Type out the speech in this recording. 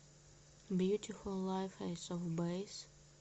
бьютифул лайф эйс оф бэйс